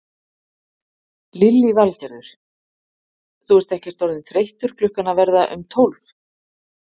Lillý Valgerður: Þú ert ekkert orðinn þreyttur klukkan að verða um tólf?